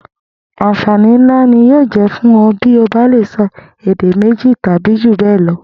Àǹfàní ńlá ni yóò jé̩ fún o̩ bí o bá lè so̩ èdè méjì tàbí jù bé̩è̩ lo